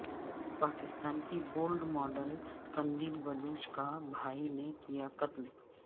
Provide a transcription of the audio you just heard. پاکستان کی bold model Qandeel Baloch کا بھائی نے کیا قتل